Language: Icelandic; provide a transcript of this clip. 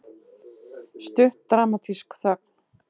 Stutt dramatísk þögn.